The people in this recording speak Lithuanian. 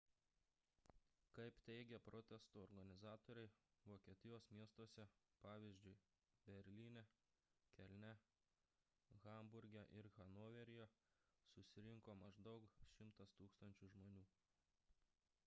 kaip teigė protesto organizatoriai vokietijos miestuose pavyzdžiui berlyne kelne hamburge ir hanoveryje susirinko maždaug 100 000 žmonių